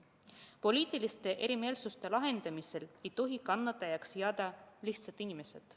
Poliitiliste erimeelsuste lahendamisel ei tohi kannatajaks jääda lihtsad inimesed.